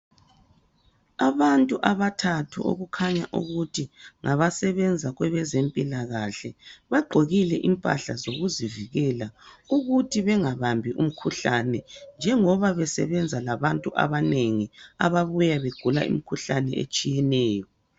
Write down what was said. Abantu abathathu okukhanya ukuthi ngabasebenza kwebezempilakahle bagqokile impahla zokuzivikela ukuthi bengabambi umkhuhlane njengoba besebenza labantu abanengi ababuya begula imikhuhlane etshiyeneyo.